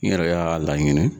N yɛrɛ y'a laɲini.